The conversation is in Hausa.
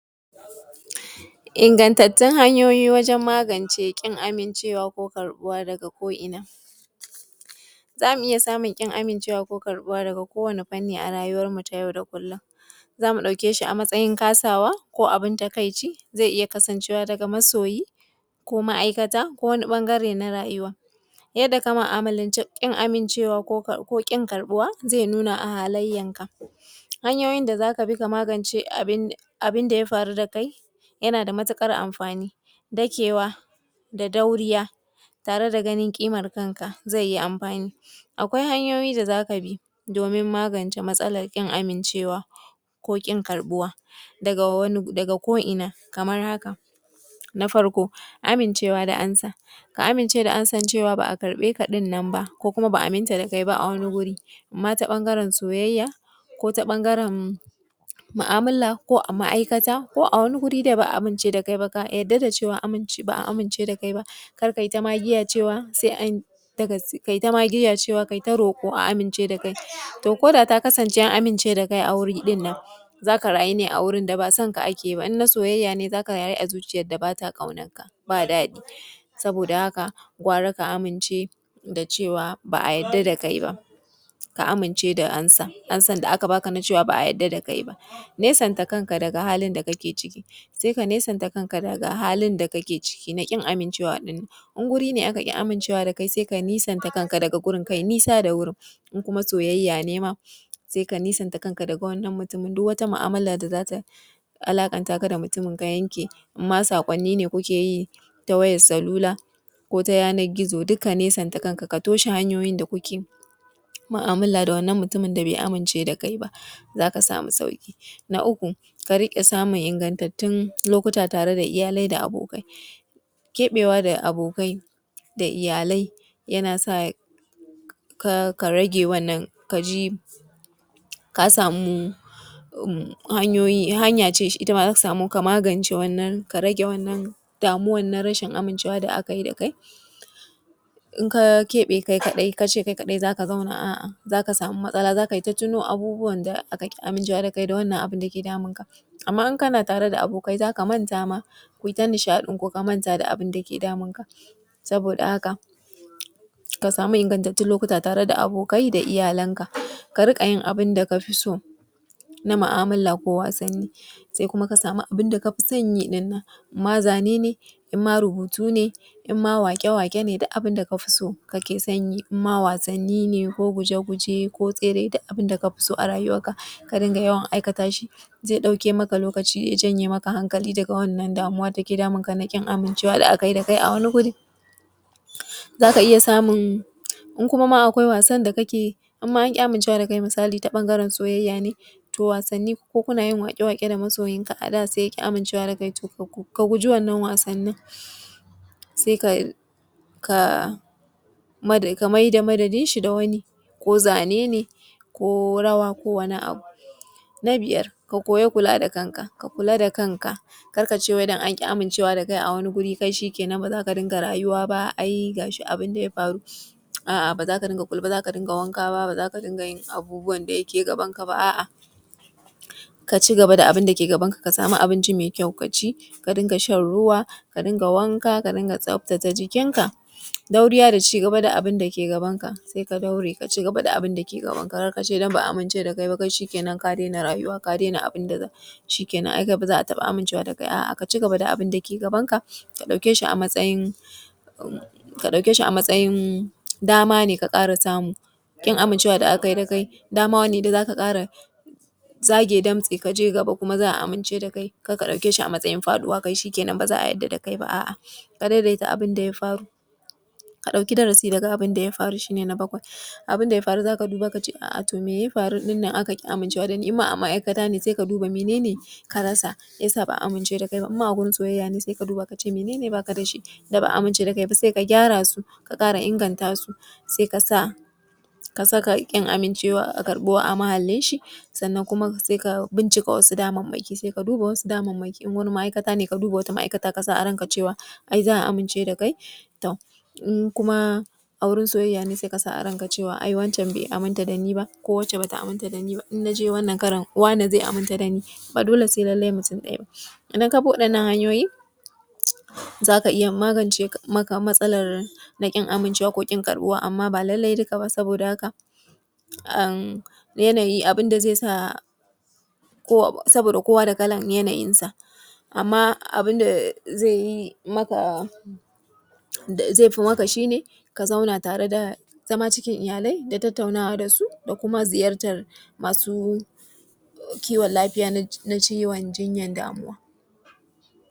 Ingantattun hanyoyin magance ƙin amincewa ko karɓuwa Wannnan fefan bidiyo nana mana nuni da yadda za ka ɗauki nauyin kanka da kuma alamomin rashin kuɗi, e, rashin kuɗi na iya zama alaman wani yanayi mai muhinmanci. Matsalolin kuɗi na iya haifar da al’amura kiwon lafiya da yawa ciki har da damuwa, damuwa game da kuɗi na iya haifar da alamon damuwa kamar bugun zuciya, gumi, girgiza ko kuma rikirkita wasu yanayi, yana kamar buɗe anbila ko halartan kimanta da fa’ida na iya haifar ɗa jin damuwa da firgita, matsalolin barci, damuwa game da kuɗi na iya haifar da matsalolin barci, ɓacin rai ko rashin ƙima. Matsalolim kuɗi na iya haifar da munmunan yanayi kaman baƙin ciki ko ƙarancin ƙima, keɓe kai, alamo na kuɗi na iya haifar da keɓe kai, rikkicin iyali, batun kuɗi na iya haifar rikicin iyali, tunanin cutar da kai. Al’amarin kuɗi na iya haifar da tinanin cutar da kai ka ji za ka iya kashe kanka saboda al’amarin rashin kuɗi duk wannan cutan kuɗi na iya haifar da shi, rashin kuɗi ya sa a yau yaranmu an koro su daga makaranta, rashin kuɗi ya sa yau babu jituwa a gidajenmu na auratayya, rashin kuɗi ya kawo damuwa sosai ga mutane da al’umma bakiɗaya, rashin kuɗi ya sa yaranmu suna a saman titi suna barci saboda babu inda za su kwanta, rashin kuɗi yana haifar da rashin lafiya, rashin kuɗi yana haifar da mutuwan jiki, rashin kuɗi yana kawo rashin zaman lafiya, rashin kuɗi babban ciwo ne a yau, rashin kuɗi ya sa an kore yaranmu a makaranta, rashin kuɗi yana kawo hawan jini, rashin kuɗi yana sa abubuwa da dama. Sannan idan ka gama kuma ka san kayan da za ka saka, kuma ya nuna mahinmancin saka kaya masu kyau, kaya masu tsafta wani sa’in ka sa kaya riga da wando kaɗai, wani sa’in ka yi zanzarodi, wani sa’in ka saka riga ta ciki ka fita da na waje kuma ya nuna ma alaman mahinmancin gyara gashi. Mahinmancin fesa tirare, wani sa’in wata rana ka sa kaya ka saka gilashi kuma ka sani za ka iya haɗa kaya idan ka saka farin riga, ƙila ka saka baƙin wando kar ka je ka saka jan riga ka ɗauko koren wando, ka saka a’a ya zamana ka iya ka iya haɗaka kaya kuma ka san irin takalmin wanda za ka saka did dai ka saka ka je kai harkokin gabanka. Daga zaran an haifi mutum, mutum yakan zo matakai dabn-daban na rayuwa kama daga lokacin da aka haifi mutum da har girmansa yakan kai matakai wanda suke taimaka masa wurin ya zama ɗan’Adam da ya daga cikin matakan da mutum yake kai wa yake fara bi shi ne rarrafe, zama kafin tukunna ya zo har ya fara tafiya. Sai kuma a zo ɓangaren da ya shafi tafiy yara sukan fara tafiya daga zaran sun kai shekara a duniya sukan riƙe abu ko katanga ko wani ice kowani ƙarfe da yake da ƙafe domin su riƙe shi sai su tashi suna takawa a hankali a hankali har ya kai lokacin da yaro zai fara miƙewa da ƙafarsa daga zaran yaro ya koyi tafiya su yi tuntuɓe sabida lokacin jikinsu bai yi da ƙarfi kuma a lokacin da yara suke tafiya sukan haɗu da abubuwa da dama domin lokacin jikinsu bai yi kwari ba, gwiwansu ba tai ƙarfi ba, kafansu bai yi ƙarfi ba, hakan yana sawa yara su gaji har su faɗi a wannan lokacin yawanci akan daina goyan yara sabida lokacin sun ɗan yi wayau sun iya tafiya suna koyan magana kuma sun iya gudu da sauransu. Masu kiwon lafiya na jinyar damuwa.